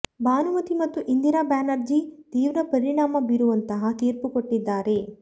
ಬಾನುಮತಿ ಮತ್ತು ಇಂದಿರಾ ಬ್ಯಾನರ್ಜಿ ತೀವ್ರ ಪರಿಣಾಮ ಬೀರುವಂತಹ ತೀರ್ಪು ಕೊಟ್ಟಿದ್ದಾರೆ